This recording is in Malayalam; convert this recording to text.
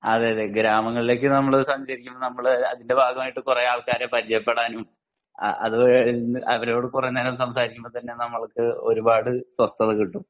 അതെയതെ ഗ്രാമങ്ങളിലേക് നമ്മൾ സഞ്ചരിക്കുമ്പോ നമ്മൾ അതിൻ്റെ ഭാഗമായിട്ട് കൊറേ ആൾക്കാരെ പരിചയപ്പെടാനും അത് അവരോട് കൊറേ നേരം സംസാരിക്കുമ്പോ തന്നെ നമുക്ക് ഒരുപാട് സ്വസ്ഥത കിട്ടും